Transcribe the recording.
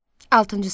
Altıncı sinif.